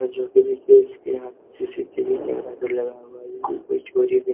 और जोकि देखिये इसके यहाँ सी.सी.टी.वी कैमरा भी लगा हुआ है कोई चोरी भी --